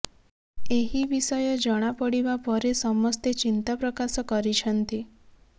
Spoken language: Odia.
ଏହି ବିଷୟ ଜଣାପଡିବା ପରେ ସମସ୍ତେ ଚିନ୍ତା ପ୍ରକାଶ କରିଛନ୍ତି